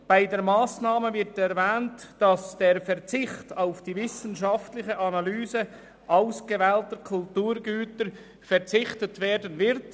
Bei dieser Massnahme wird erwähnt, dass auf die wissenschaftliche Analyse ausgewählter Kulturgüter verzichtet wird.